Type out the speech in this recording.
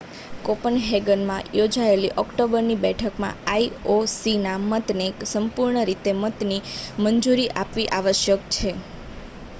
કોપનહેગનમાં યોજાયેલી ઓક્ટોબરની બેઠકમાં આઈ ઓ સી ના મતને સંપૂર્ણ રીતે મતને મંજૂરી આપવી આવશ્યક છે